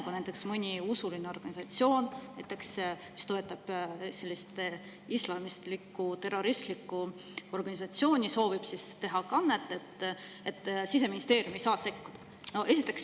Kui näiteks mõni usuline organisatsioon, mis toetab islamistlikku terroristlikku organisatsiooni, soovib teha kannet, siis Siseministeerium ei saa sekkuda.